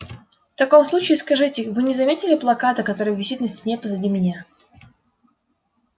в таком случае скажите вы не заметили плаката который висит на стене позади меня